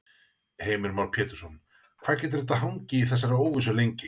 Heimir Már Pétursson: Hvað getur þetta hangið í þessari óvissu lengi?